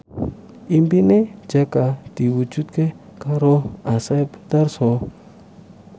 impine Jaka diwujudke karo Asep Darso